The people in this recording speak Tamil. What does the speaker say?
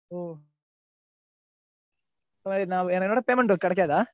என்னோட payment கிடைக்காதா?